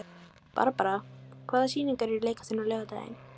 Barbara, hvaða sýningar eru í leikhúsinu á laugardaginn?